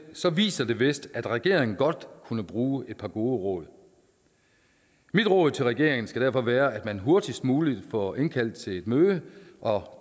viser vist at regeringen godt kunne bruge et par gode råd mit råd til regeringen skal derfor være at man hurtigst muligt får indkaldt til et møde og